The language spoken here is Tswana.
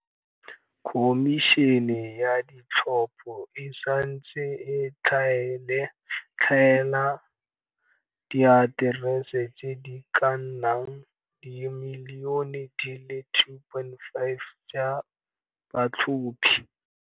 Khomišene ya Ditlhopho e santse e tlhaela diaterese tse di ka nnang dimilione di le 2.8 tsa batlhophi.